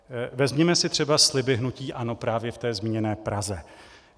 Vezměme si třeba sliby hnutí ANO právě v té zmíněné Praze.